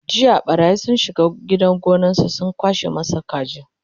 jiya ɓarayi sun shiga gidan gonansa sun kwashe masa kaji